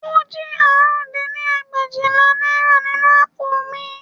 Ó jí àrún dín ní ẹgbẹ̀éjìlá náírà nínú àpò mi